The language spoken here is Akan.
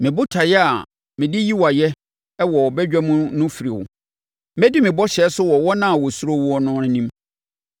Me botaeɛ a mede yi wo ayɛ wɔ badwa mu no firi wo; mɛdi me bɔhyɛ so wɔ wɔn a wɔsuro wo no anim.